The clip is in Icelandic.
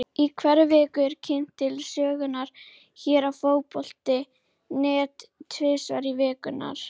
Í hverri viku eru kynntir til sögunnar hér á Fótbolti.net Tvífarar vikunnar.